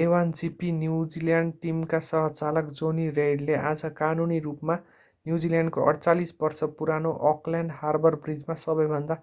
a1gp New Zealand टिमका सह-चालक jonny reid ले आज कानूनी रूपमा न्युजिल्यान्डको 48-वर्षे पुरानो अकल्यान्ड हार्बर ब्रिजमा सबैभन्दा